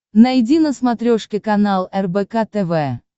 найди на смотрешке канал рбк тв